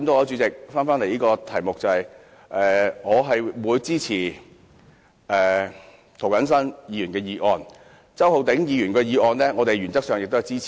主席，針對此議題，我支持涂謹申議員的修正案，至於周浩鼎議員的修正案，我們原則上也是支持的。